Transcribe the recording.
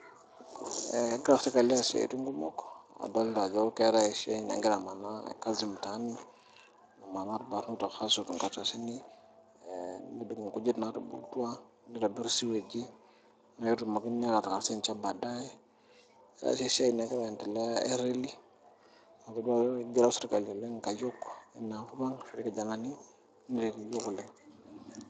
egira serkali aas siatin kumok adolita ajo ketii oshi enamanaa e kazi mtaani namaana ilbarnot aadung nkujik naatubulutua neitobirr siweji netumoki aas easia enche badaye, keetae sii esia nagira aendelea ereli atodua ajo eigero sirkali oleng nkayiok ena kop ang ore ilkijanani netii ne.